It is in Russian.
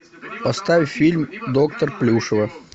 поставь фильм доктор плюшева